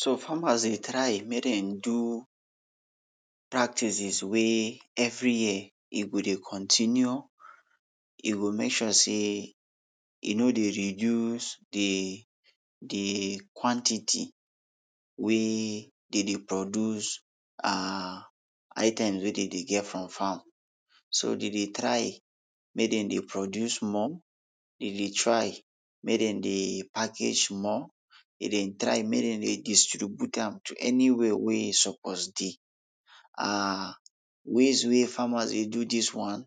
So farmers dey try make den do practices wey every year e go dey continue, e go make sure sey e no dey reduce de, de quantity wey dey dey produce um items wey dey dey get from farm. So dey dey try make den dey produce more, dey dey try make den dey package more, dey dey try make den dey distribute am to any wia wey e suppose dey. um ways wey farmers dey do dis one,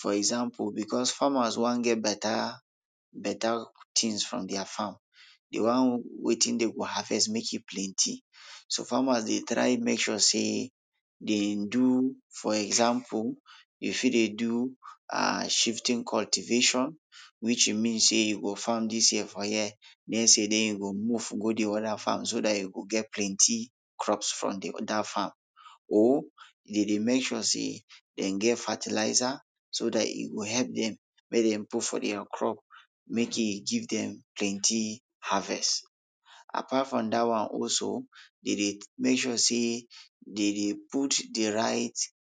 for example becos farmers wan get beta, beta tins from dia farm, de wan wetin den go harvest make e plenty,, so farmers dey try make sure sey den do for example, you fit dey do um shifting cultivation, which e means sey you go farm dis year for here, next year den you go move go de oda farm so dat you go get plenty crops from de oda farm, or den dey make sure sey den get fertilizer, so dat e go help dem make dem put for dia crop make e give dem plenty harvest. Apart from dat one also, den dey make sure sey dey dey put de right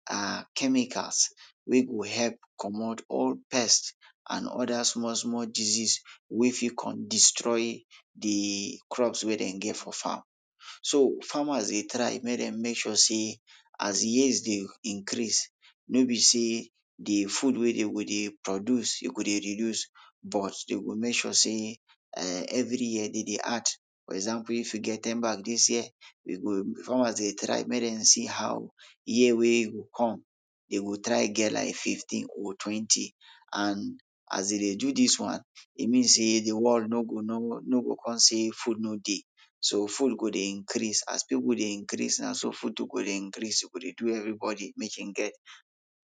um chemicals wey go help comot all pest and oda small small disease wey fit kon destroy de crops wey den get for farm. So farmers dey try make dem make sure sey as years de increase no be sey de food wey dey go dey produce dey go dey reduce but dey go make sure sey um every year den dey add, for example if you get ten bag dis year, we go, farmers dey try make den see how year wey e go come, den go try get fifteen or twenty, and as dey dey do dis one, e mean sey de world no go know, no go kon say food no dey, so food go dey increase, as pipul dey increase na so food too go dey increase e go dey do everybodi make e get,